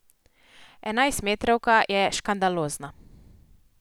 Enajstmetrovka je škandalozna.